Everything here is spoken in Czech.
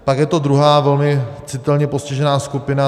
Pak je to druhá velmi citelně postižená skupina.